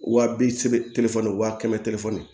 Wa bi seegin wa kɛmɛ telefɔni